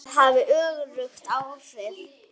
Það hafði öfug áhrif.